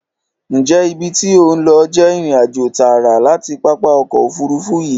Ǹjẹ́ ibi tí ò ń lọ jẹ́ ìrìnàjò tààrà láti pápá ọkọ̀ Òfurufú yìí?